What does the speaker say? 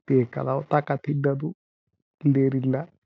ಬೇಕಾದವ್ ತಕ ತಿನ್ನೋದು ಇಲ್ದೆ ಇದ್ರೆ ಇಲ್ಲ.